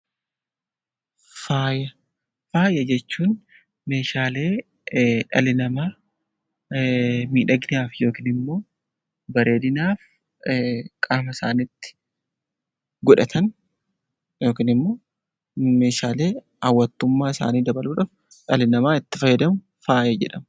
Faaya Faaya jechuun meeshaalee dhalli namaa miidhaginaaf yookiin immoo bareedinaaf qaama isaaniitti godhatan yookiin immoo meeshaalee hawwattummaa isaanii dabaluu dhaaf dhalli namaa itti fayyadamu 'Faaya' jedhama.